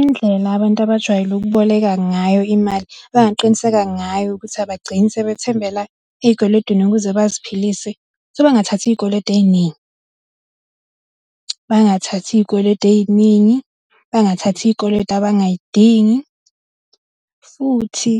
Indlela abantu abajwayele ukuboleka ngayo imali, abangaqiniseka ngayo ukuthi abagcini sebethembela ey'kweletini ukuze baziphilise, bangathathi iy'kweletu ey'ningi . Bangathathi iy'kweletu ey'ningi, bangathathi iy'kweletu abangay'dingi futhi